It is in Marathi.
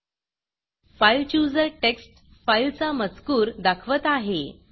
fileChooserफाइल चुजर टेक्स्ट फाईलचा मजकूर दाखवत आहे